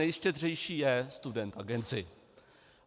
Nejštědřejší je Student Agency.